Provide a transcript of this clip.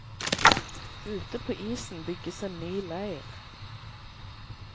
Ute på isen bygges en ny leir.